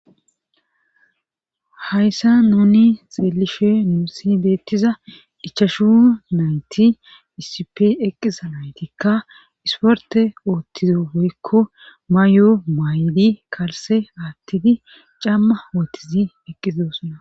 hayssa nuni xeelishe nusi beettiza ichashu nayti isip eqqiza naytikka isporte oothtizo goykko may7o may7idi kalse aattidi camma wotizi eqqizosuna